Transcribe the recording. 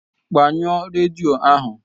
Gbanyụọ redio ahu!